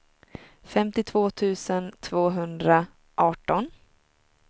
femtiotvå tusen tvåhundraarton